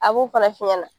A b'o fana f'i ɲɛna